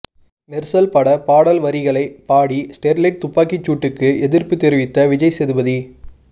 மெர்சல் பட பாடல் வரிகளை பாடி ஸ்டெர்லைட் துப்பிக்கி சூட்டுக்கு எதிர்ப்பு தெரிவித்த விஜய் சேதுபதி